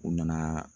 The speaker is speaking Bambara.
U nana